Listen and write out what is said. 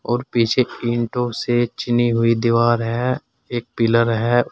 और पीछे ईंटों से चुनी हुई दीवार है एक पिलर है।